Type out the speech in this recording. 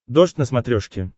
дождь на смотрешке